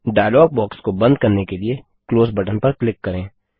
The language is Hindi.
डायलॉग बॉक्स को बंद करने के लिए क्लोज बटन पर क्लिक करें